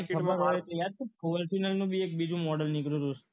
ખબર પડશે યાદ છે fortuner નું બીજું મોડલ નીકળ્યું છે